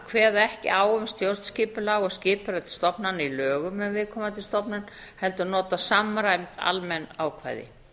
kveða ekki á um stjórnskipulag og skipurit stofnana í lögum um viðkomandi stofnun heldur nota samræmd almenn ákvæði